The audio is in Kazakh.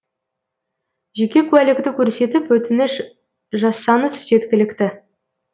жеке куәлікті көрсетіп өтініш жазсаңыз жеткілікті